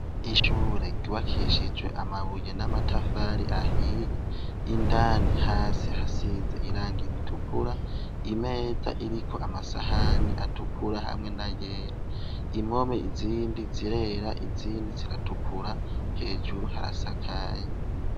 Ishure ryubakishijwe amabuye n'amatafari ahiye. Indani hasi hasize irangi ritukura. Imeza iriko amasahani atukura hamwe n'ayera. Impome izindi zirera, izindi zigatukura. Hejuru harasakaye